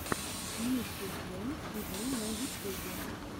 ники джем ти ви на ютюбе